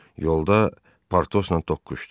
Yolda Partosla toqquşdu.